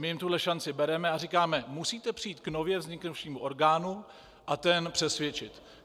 My jim tuhle šanci bereme a říkáme: musíte přijít k nově vzniknuvšímu orgánu a ten přesvědčit.